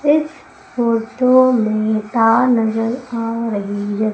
इस फोटो मे तार नजर आ रही है।